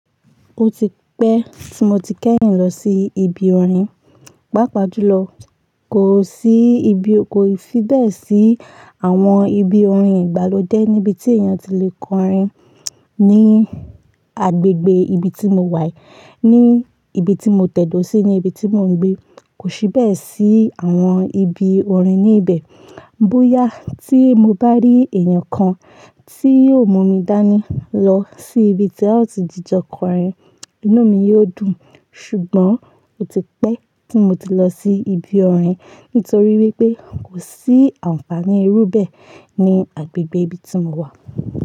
O ti pe ti moti k'ẹ̀rù mi lo si ibi oni. Pápá jùlọ kò sí ibi, kò sí bẹ́ẹ̀ sí àwọn ibi orin ìgbàlódé níbi tí èèyàn ti lè kọ orin ní agbègbè ibi tí mo wàyi, ní ibi tí mo tẹ̀dó sí, ní ibi tí mò ń gbé. Kò sí bẹ́ẹ̀ sí àwọn ibi orin ní ibẹ̀. Bóyá tí mo bá rí èèyàn kan tí yóò mú mi dání lọ sí ibi tí a ó ti díjọ kọ orin, inú mi yóò dùn. Ṣùgbọ́n ó ti pẹ́ tí mo ti lọ sí ibi orin nítorí wípé kò sí àǹfààní irú bẹ́ẹ̀ ní agbègbè ibi tí mo wà.